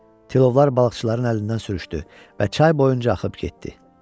Tilovlar balıqçıların əlindən sürüşdü və çay boyunca axıb getdi.